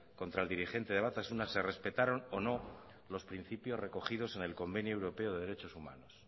contra el dirigente de batasuna se respetaron o no los principios recogidos en el convenio europeo de derechos humanos